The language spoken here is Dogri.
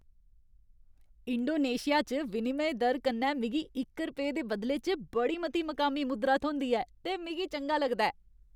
इंडोनेशिया च विनिमय दर कन्नै मिगी इक रपेऽ दे बदले च बड़ी मती मकामी मुद्रा थ्होंदी ऐ ते मिगी चंगा लगदा ऐ।